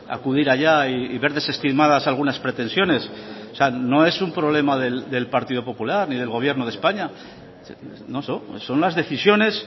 acudir allá y ver desestimadas algunas pretensiones no es un problema del partido popular ni del gobierno de españa son las decisiones